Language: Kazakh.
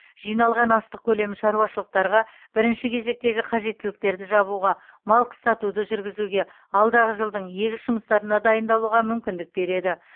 жиналған астық көлемі шаруашылықтарға бірінші кезектегі қажеттіліктерді жабуға мал қыстатуды жүргізуге алдағы жылдың егіс жұмыстарына дайындалуға мүмкіндік береді